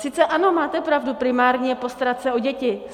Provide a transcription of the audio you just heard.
Sice ano, máte pravdu, primární je postarat se o děti.